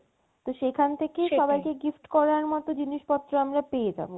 তো সেখান থেকে সেটাই সবাইকে গিফট করার মতো জিনিস পত্র আমরা পেয়ে যাবো